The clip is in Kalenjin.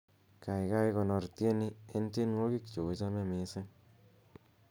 gaigai konor tieni en tienwogik cheochome missing